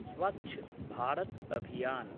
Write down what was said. Swachh Bharat Abhiyan